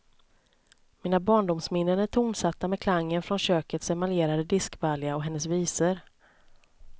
Mina barndomsminnen är tonsatta med klangen från kökets emaljerade diskbalja och hennes visor.